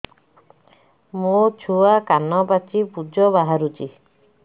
ମୋ ଛୁଆ କାନ ପାଚି ପୂଜ ବାହାରୁଚି